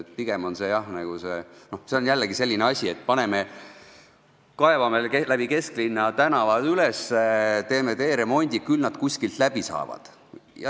Pigem on see jah nagu selline asi, et kaevame kesklinnas tänavad üles, teeme teeremondi, küll nad kuskilt läbi saavad.